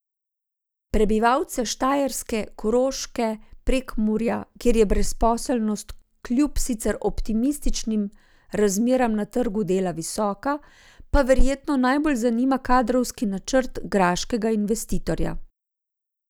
Prebivalce Štajerske, Koroške, Prekmurja, kjer je brezposelnost kljub sicer optimističnim razmeram na trgu dela visoka, pa verjetno najbolj zanima kadrovski načrt graškega investitorja.